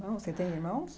Você tem irmãos?